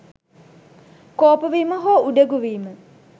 කෝපවීම හෝ උඩඟු වීම